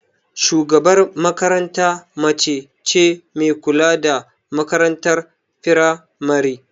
Shugabar makaranta mace ce me kula da makarantar firamari